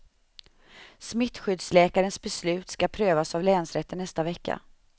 Smittskyddsläkarens beslut ska prövas av länsrätten nästa vecka.